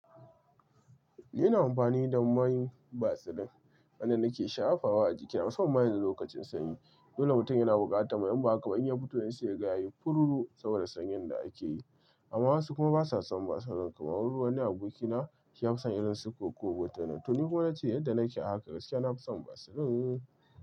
Ni ina amfani da main basilin wanda nake shafawa a jiki. Ina son main da lokacin sanyi, dole mutum yana bukata. Mai imba haka? Ban iya fito in saya gaye, fururu saboda sanyin da ake yi. Amma wasu kuma ba sa son basilin kamar wani abokina ya fi son irin su koko wutanin. To ni kuma na ce yadda nake a haka, gaskiya na fi son basilin.